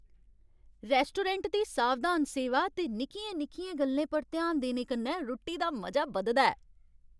Restaurant दी सावधान सेवा ते निक्कियें निक्कियें गल्लें पर ध्यान देने कन्नै रुट्टी दा मजा बधदा ऐ।